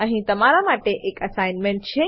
અહીં તમારા માટે અસાઇનમેન્ટ છે